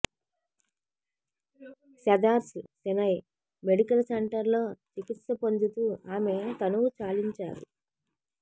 Cedars Sinai Medical Center లో చికిత్స పొందుతూ ఆమె తనువు చాలించారు